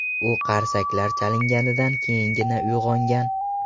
U qarsaklar chalinganidan keyingina uyg‘ongan.